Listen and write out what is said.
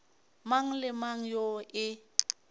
mang le mang yoo e